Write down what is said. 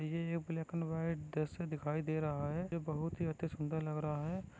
ये एक black and white दृश्य दिखाई दे रहा हैं ये बहुत ही अतिसुंदर लग रहा हैं।